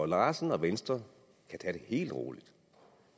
larsen og venstre kan tage det helt roligt